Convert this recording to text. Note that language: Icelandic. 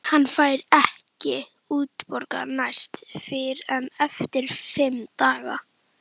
Hann fær ekki útborgað næst fyrr en eftir fimm daga.